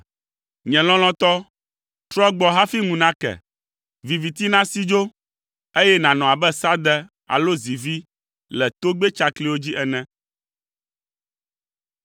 Nye lɔlɔ̃tɔ, trɔ gbɔ hafi ŋu nake, viviti nasi dzo, eye nànɔ abe sãde alo zivi le togbɛ tsakliwo dzi ene.